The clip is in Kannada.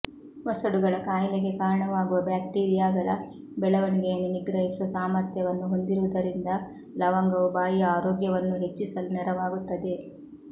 ವಸಡುಗಳ ಕಾಯಿಲೆಗೆ ಕಾರಣವಾಗುವ ಬ್ಯಾಕ್ಟೀರಿಯಾಗಳ ಬೆಳವಣಿಗೆಯನ್ನು ನಿಗ್ರಹಿಸುವ ಸಾಮರ್ಥ್ಯವನ್ನು ಹೊಂದಿರುವುದರಿಂದ ಲವಂಗವು ಬಾಯಿಯ ಆರೋಗ್ಯವನ್ನೂ ಹೆಚ್ಚಿಸಲು ನೆರವಾಗುತ್ತದೆ